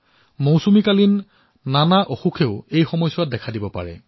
বাৰিষাত অন্য ৰোগেও দেখা দিয়ে